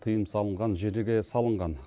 тыйым салынған жерлерге салынған